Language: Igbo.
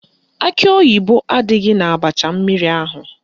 Akị oyibo adịghị n'abacha mmiri ahụ